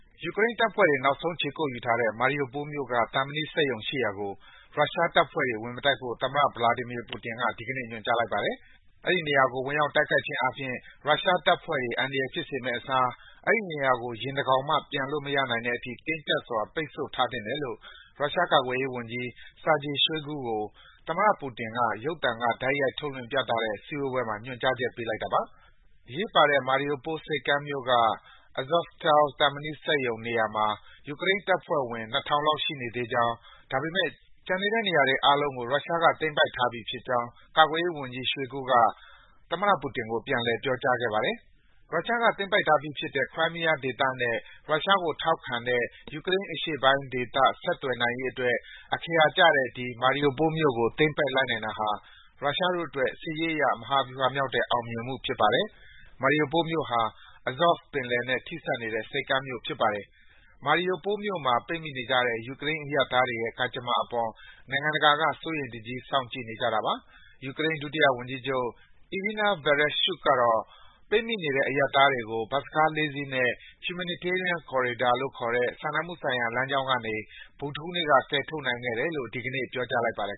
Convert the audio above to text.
ယူကရိန်းတပ်ဖွဲ့တွေ နောက်ဆုံးခြေကုတ်ယူထားတဲ့ Mariupol မြို့က သံမဏိစက်ရုံရှိရာကို ရုရှားတပ်ဖွဲ့တွေ ဝင်မတိုက်ဖို့ သမ္မတ Vladimir Putin က ဒီကနေ့ ညွန်ကြားလိုက်ပါတယ်။ အဲဒီနေရာကို ဝင်ရောက်တိုက်ခိုက်ခြင်းအားဖြင့် ရုရှားတပ်ဖွဲ့တွေ အန္တရာယ်ဖြစ်စေမယ့်အစား အဲဒီနေရာကို ယင်တကောင်မှ ပျံလို့မရနိုင်တဲ့အထိ တင်းကြပ်စွာ ပိတ် ဆို့ ထားသင့်တယ်လို့ ရုရှားကာကွယ်ရေးဝန်ကြီး Sergei Shoigu ကို သမ္မတပူတင်က ရုပ်သံက တိုက်ရိုက်ထုတ်လွှင့်ပြသတဲ့ စည်းဝေးပွဲမှာ ညွန်ကြားချက် ပေးလိုက်တာပါ။ အရေးပါတဲ့ Mariupol ဆိပ်ကမ်းမြို့က Azovstal သံမဏိစက်ရုံနေရာမှာ ယူကရိန်းတပ်ဖွဲ့ဝင် ၂,၀၀၀ လောက် ရှိနေသေးကြောင်း၊ ဒါပေမယ့် ကျန်တဲ့နေရာတွေအားလုံးကို ရုရှားက သိမ်းပိုက်ထားပြီးဖြစ်ကြောင်း ကာကွယ်ရေးဝန်ကြီး Shoigu က သမ္မတပူတင်ကို ပြန်လည် ပြောကြားခဲ့ပါတယ်။ ရုရှားက သိမ်းပိုက်ထားပြီးဖြစ်တဲ့ Crimea ဒေသနဲ့ ရုရှားကို ထောက်ခံတဲ့ ယူကရိန်းအရှေ့ပိုင်းဒေသ ဆက်သွယ်နိုင်ရေးအတွက် အခရာကျတဲ့ ဒီ Mariupol မြို့ကို သိမ်းပိုက်လိုက်နိုင်တာဟာ ရုရှားတို့အတွက် စစ်ရေးအရ မဟာဗြူဟာမြောက်တဲ့ အောင်မြင်မှုဖြစ်ပါတယ်။ Mariupol မြို့ဟာ Azov ပင်လယ်နဲ့ ထိစပ်နေတဲ့ ဆိပ်ကမ်းမြို့ဖြစ်ပါတယ်။ Mariupol မြို့မှာ ပိတ်မိနေကြတဲ့ ယူကရိန်း အရပ်သားတွေရဲ့ ကံကြမ္မာအပေါ် နိုင် ငံတကာက စိုးရိမ်တကြီး စောင့်ကြည့်နေကြတာပါ။ ယူကရိန်း ဒုတိယဝန်ကြီးချုပ် Iryna Vereshchuk ကတော့ ပိတ်မိနေတဲ့ အရပ်သားတွေကို ဘတ်စ်ကား ၄ စီးနဲ့ Humanitarian corridor လို့ခေါ်တဲ့ စာနာမှုဆိုင်ရာ လမ်းကြောင်းကနေ ဗုဒ္ဓဟူးနေ့က ကယ်ထုတ်နိုင်ခဲ့တယ်လို့ ဒီကနေ့ ပြောကြားလိုက်ပါတယ်